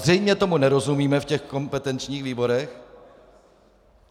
Zřejmě tomu nerozumíme v těch kompetenčních výborech.